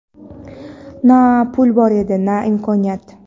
Na pul bor edi, na imkoniyat.